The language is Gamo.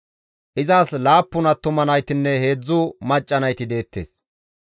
Izas laappun attuma naytinne heedzdzu macca nayti deettes.